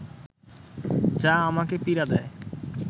যা আমাকে পীড়া দেয়